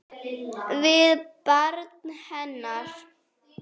Við barn hennar.